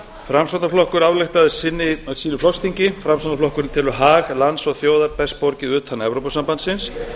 framsóknarflokkur ályktaði á sínu flokksþingi framsóknarflokkurinn telur hag lands og þjóðar best borgið utan evrópusambandsins